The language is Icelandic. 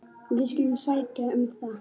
Við skulum sækja um það.